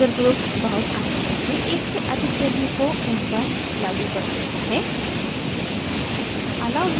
हमारा user group बहुत आसानी से एक से अधिक values को उन पर लागू कर सकता है